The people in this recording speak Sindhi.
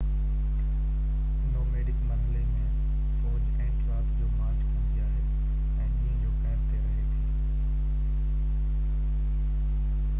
نوميڊڪ مرحلي ۾ فوج اينٽ رات جو مارچ ڪندي آهي ۽ ڏينهن جو ڪئمپ تي رهي ٿي